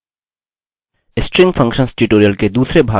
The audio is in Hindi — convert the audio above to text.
स्ट्रिंग फंक्शंस ट्यूटोरियल के दूसरे भाग में आपका स्वागत है